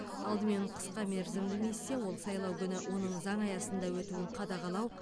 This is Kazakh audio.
алдымен қысқа мерзімді миссия ол сайлау күні оның заң аясында өтуін қадағалау